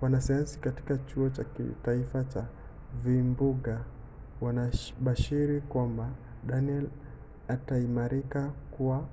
wanasayansi katika kituo cha kitaifa cha vimbunga wanabashiri kwamba danielle itaimarika kuwa